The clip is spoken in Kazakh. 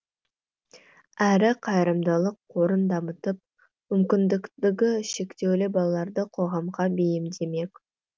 әрі қайырымдылық қорын дамытып мүмкіндігі шектеулі балаларды қоғамға бейімдемек